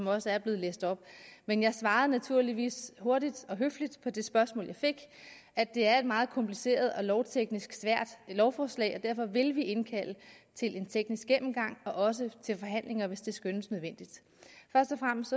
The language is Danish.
også er blevet læst op men jeg svarede naturligvis hurtigt og høfligt på det spørgsmål jeg fik at det er et meget kompliceret og lovteknisk svært lovforslag og derfor vil vi indkalde til en teknisk gennemgang og også til forhandlinger hvis det skønnes nødvendigt først og fremmest